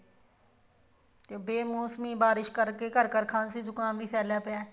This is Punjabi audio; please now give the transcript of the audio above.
ਬੇਮੋਸਮੀ ਬਾਰਿਸ਼ ਕਰਕੇ ਘਰ ਘਰ ਖਾਂਸੀ ਜੁਕਾਮ ਵੀ ਫੇਲਿਆ ਹੋਇਆ